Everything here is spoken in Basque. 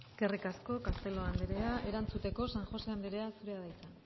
eskerrik asko castelo andrea erantzuteko san jose andrea zurea da hitza